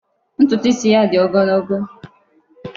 Ntutu isi ya dị ogologo.